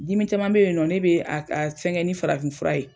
Dimi caman bɛ yen nɔ ne bɛ a a fɛngɛn ni farafin fura ye.